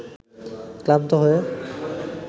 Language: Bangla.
ক্লান্ত হয়ে